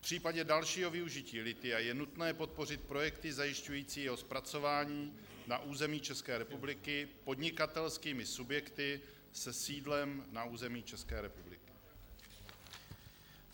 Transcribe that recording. V případě dalšího využití lithia je nutné podpořit projekty zajišťující jeho zpracování na území České republiky podnikatelskými subjekty se sídlem na území České republiky.